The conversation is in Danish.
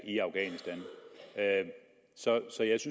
i afghanistan så